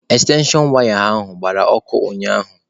Ekstenshon waya ahụ gbara ọkụ ụnyaahụ.